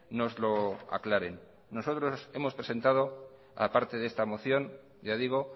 nos lo aclaren nosotros hemos presentado aparte de esta moción ya digo